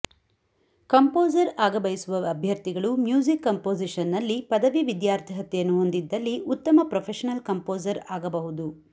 composer ಆಗ ಬಯಸುವ ಅಭ್ಯರ್ಥಿಗಳು ಮ್ಯೂಸಿಕ್ ಕಂಪೋಸಿಷನ್ನಲ್ಲಿ ಪದವಿ ವಿದ್ಯಾರ್ಹತೆಯನ್ನು ಹೊಂದಿದ್ದಲ್ಲಿ ಉತ್ತಮ ಪ್ರೊಫೆಷನಲ್ ಕಂಪೋಸರ್ ಆಗಬಹುದು